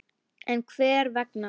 En hver vegna?